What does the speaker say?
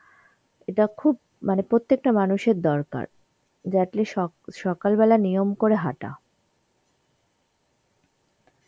এটা খুব মানে প্রত্যেকটা মানুষের দরকার যে at least সক~ সকালবেলা নিয়ম করে হাটা.